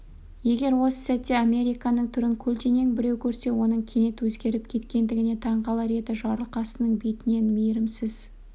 егер осы сәтте американның түрін көлденең біреу көрсе оның кенет өзгеріп кеткендігіне таң қалар еді жарылқасынның бетінен мейірімсіз